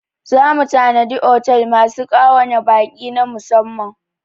Za mu tanadi otel masu ƙa'wa na baƙi na musamman.